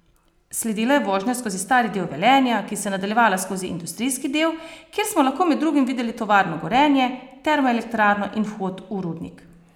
Sledila je vožnja skozi stari del Velenja, ki se je nadaljevala skozi industrijski del, kjer smo lahko med drugim videli tovarno Gorenje, termoelektrarno in vhod v rudnik.